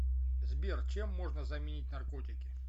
сбер чем можно заменить наркотики